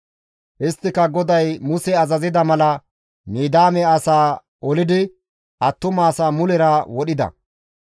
Isttika GODAY Muse azazida mala Midiyaame asaa olidi attumasaa mulera wodhida.